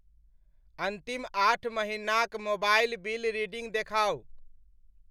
अन्तिम आठ महिनाक मोबाइल बिल रीडिंग देखाउ।